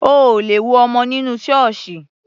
O ò lè wo ọmọ nínú Ṣọọṣi